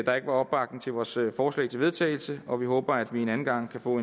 der ikke var opbakning til vores forslag til vedtagelse og vi håber at vi en anden gang kan få